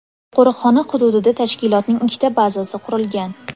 Qo‘riqxona hududida tashkilotning ikkita bazasi qurilgan.